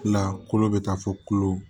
La kolo bɛ taa fɔ kolo